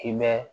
Hinɛ